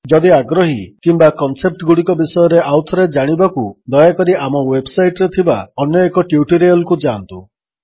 ଯଦି ଆଗ୍ରହୀ କିମ୍ୱା କନସେପ୍ଟଗୁଡ଼ିକ ବିଷୟରେ ଆଉଥରେ ଜାଣିବାକୁ ଦୟାକରି ଆମ ୱେବ୍ସାଇଟ୍ରେ ଥିବା ଅନ୍ୟଏକ ଟ୍ୟୁଟୋରିଆଲ୍ କୁ ଯାଆନ୍ତୁ